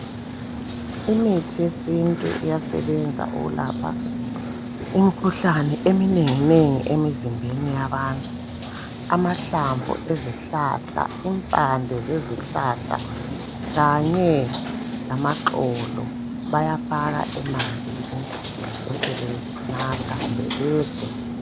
Imithi yesintu iyasebenza ukulapha imikhuhlane eminengi nengi emzimbeni yabantu .Amahlamvu ezihlahla ,impande zezihlahla .Kanye lama xolo .Bayafaka emanzini besebe natha kumbe bedle .